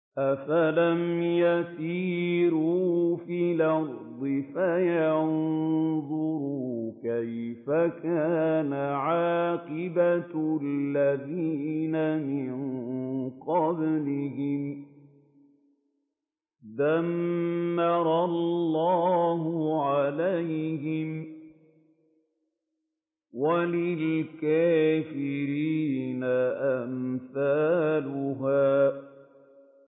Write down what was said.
۞ أَفَلَمْ يَسِيرُوا فِي الْأَرْضِ فَيَنظُرُوا كَيْفَ كَانَ عَاقِبَةُ الَّذِينَ مِن قَبْلِهِمْ ۚ دَمَّرَ اللَّهُ عَلَيْهِمْ ۖ وَلِلْكَافِرِينَ أَمْثَالُهَا